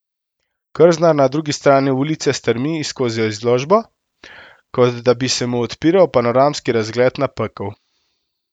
Krznar na drugi strani ulice strmi skozi izložbo, kot da bi se mu odpiral panoramski razgled na pekel.